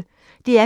DR P1